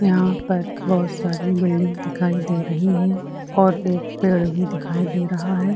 यहाँ पर बहुत सारी बिल्डिंग दिखाई दे रही हैं और एक पेड़ भी दिखाई दे रहा हैं।